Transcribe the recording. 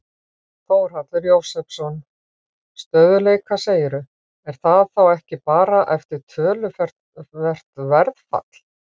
Þórhallur Jósefsson: Stöðugleika segirðu, er það þá ekki bara eftir töluvert verðfall?